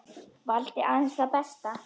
Valdi aðeins það besta.